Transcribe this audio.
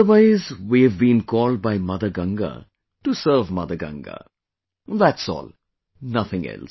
Otherwise, we have been called by Mother Ganga to serve Mother Ganga, that's all, nothing else